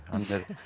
er